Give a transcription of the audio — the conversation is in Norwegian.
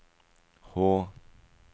H